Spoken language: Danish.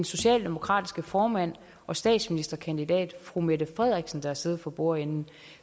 socialdemokratiske formand og statsministerkandidat fru mette frederiksen der har siddet for bordenden